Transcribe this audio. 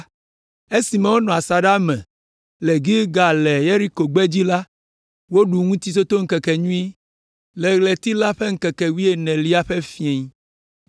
Esime wonɔ asaɖa me le Gilgal le Yeriko gbedzi la, woɖu Ŋutitotoŋkekenyui le ɣleti la ƒe ŋkeke wuienelia ƒe fiẽ.